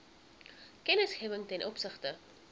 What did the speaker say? kennisgewing ten opsigte